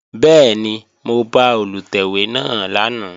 Bẹ́ẹ̀ni, mo bá Olùtẹ̀wé náà lánàá